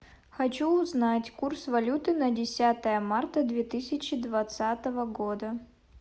хочу узнать курс валюты на десятое марта две тысячи двадцатого года